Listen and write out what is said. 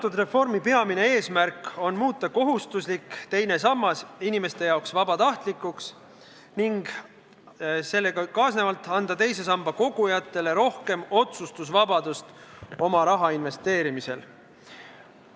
Selle reformi peamine eesmärk on muuta kohustuslik teine sammas inimeste jaoks vabatahtlikuks ning sellega kaasnevalt anda teise sambasse kogujatele rohkem otsustusvabadust oma raha investeerimisel.